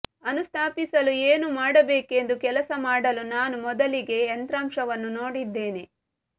ಅನುಸ್ಥಾಪಿಸಲು ಏನು ಮಾಡಬೇಕೆಂದು ಕೆಲಸ ಮಾಡಲು ನಾನು ಮೊದಲಿಗೆ ಯಂತ್ರಾಂಶವನ್ನು ನೋಡಿದ್ದೇನೆ